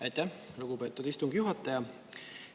Aitäh, lugupeetud istungi juhataja!